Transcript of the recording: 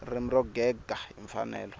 ririmi ro gega hi mfanelo